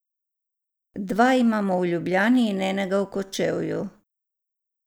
Dva imamo v Ljubljani in enega v Kočevju.